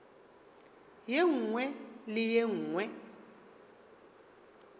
ye nngwe le ye nngwe